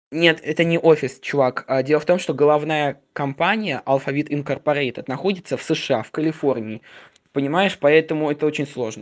нет это не офис чувак а дело в том что головная компания алфавит инкорпорейтед находится в сша в калифорнии понимаешь поэтому это очень сложно